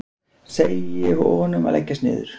Segi honum að leggjast niður.